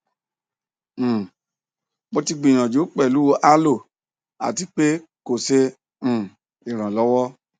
um mo ti gbiyanju pelu aloe ati pe ko ṣe um iranlọwọ